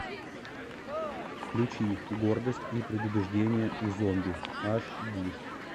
включи гордость и предубеждение и зомби аш ди